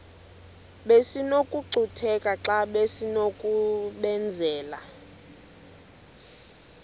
besinokucutheka xa besinokubenzela